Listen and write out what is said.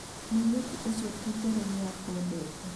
mũirĩtu ũcio ti itherũ nĩakwendete